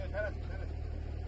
Yox, tələsmə, tələsmə.